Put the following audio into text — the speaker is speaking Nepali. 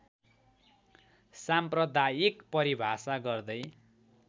साम्प्रदायिक परिभाषा गर्दै